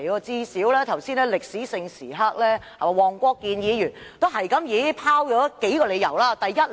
在早前的歷史性時刻，黃國健議員最少也拋出了數個理由。